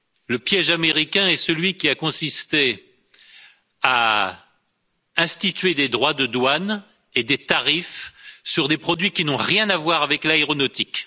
Le piège américain est celui qui a consisté à instituer des droits de douane et des tarifs sur des produits qui n'ont rien à voir avec l'aéronautique.